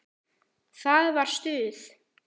Það var stuð!